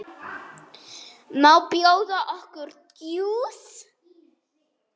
Má bjóða okkur djús?